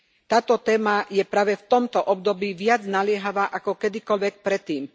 Táto téma je práve v tomto období viac naliehavá ako kedykoľvek predtým.